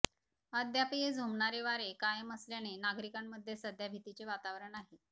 अद्यापही झोंबणारे वारे कायम असल्याने नागरिकांमध्ये सध्या भितीचे वातावरण आहे